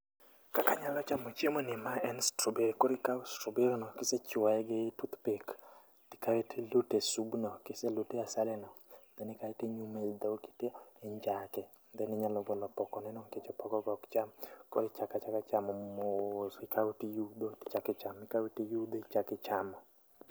Kaka anyalo chamo chiemomni mae en strawberry, koro ikawo strawberry no to ichuoye gi tooth pick, kae to iluto e supno kiselute e asali no kae to ikawe to iluthe e dhogi to injake then inyalo golo opokoneno nikech opoko ne no ok cham koro ichako achaka chamo mos, ikawo to iyudho to ichako ichamo, ikawo to iyudho to ichako ichamo.